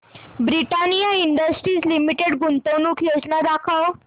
Britannia industries limited गुंतवणूक योजना दाखव